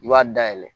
I b'a dayɛlɛ